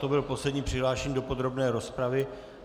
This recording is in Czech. To byl poslední přihlášený do podrobné rozpravy.